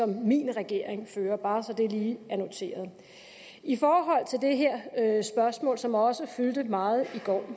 min regering fører bare så det lige er noteret i forhold til det her spørgsmål som også fyldte meget i går